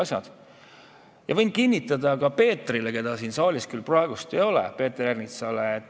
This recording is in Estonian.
Võin üht asja kinnitada ka Peeter Ernitsale, keda küll praegu siin saalis ei ole.